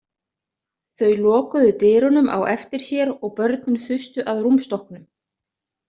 Þau lokuðu dyrunum á eftir sér og börnin þustu að rúmstokknum.